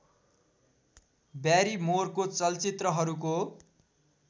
ब्यारिमोरको चलचित्रहरूको